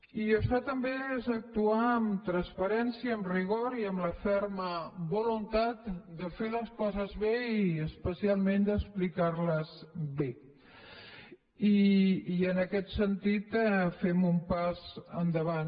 i això també és actuar amb transparència amb rigor i amb la ferma voluntat de fer les coses bé i especialment d’explicar les bé i en aquest sentit fem un pas endavant